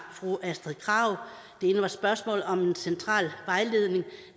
fru astrid krag det ene var spørgsmålet om en central vejledning